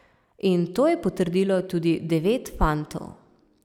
In to je potrdilo tudi devet fantov.